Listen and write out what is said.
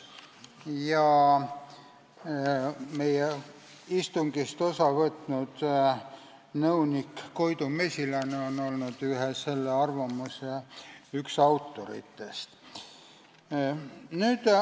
Ja meie istungist osa võtnud nõunik Koidu Mesilane on üks selle arvamuse autoritest.